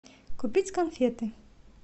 купить конфеты